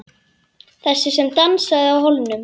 Þessi sem dansaði á hólnum.